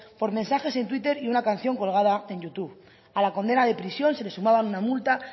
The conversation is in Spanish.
por mensajes en twitter y una canción colgada en youtube a la condena de prisión se le sumaba una multa